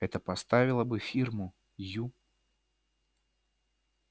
это поставило бы фирму ю